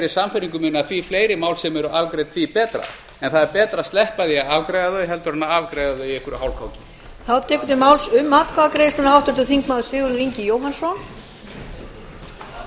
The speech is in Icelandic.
sannfæringu minni að því fleiri mál sem eru afgreidd því betra en það er betra að sleppa því að afgreiða þau heldur en afgreiða þau í einhverju hálfkáki